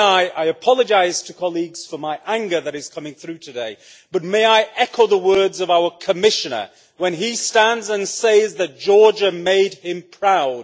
I apologise to colleagues for my anger that is coming through today, but may I echo the words of our Commissioner when he stands and says that Georgia made him proud.